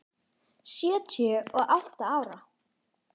Sjötíu og átta ára.